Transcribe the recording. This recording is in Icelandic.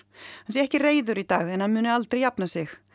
hann sé ekki reiður í dag en hann muni aldrei jafna sig